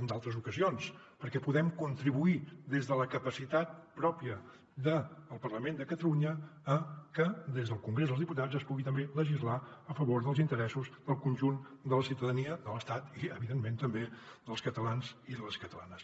en d’altres ocasions perquè podem contribuir des de la capacitat pròpia del parlament de catalunya a que des del congrés dels diputats es pugui també legislar a favor dels interessos del conjunt de la ciutadania de l’estat i evidentment també dels catalans i de les catalanes